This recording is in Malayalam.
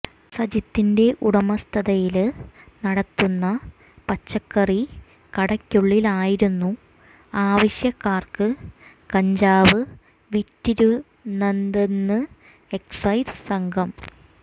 സജിത്തിന്റെ ഉടമസ്ഥതയില് നടത്തുന്ന പച്ചക്കറി കടയ്ക്കുള്ളിലായിരുന്നു ആവശ്യക്കാര്ക്ക് കഞ്ചാവ് വിറ്റിരുന്നതെന്ന് എക്സൈസ് സംഘം